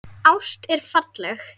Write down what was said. Ást er falleg.